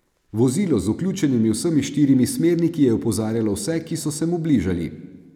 Vozilo z vključenimi vsemi štirimi smerniki je opozarjalo vse, ki so se mu bližali.